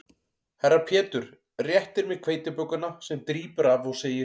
Herra Pétur réttir mér hveitibökuna sem drýpur af og segir